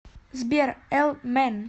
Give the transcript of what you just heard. сбер элмэн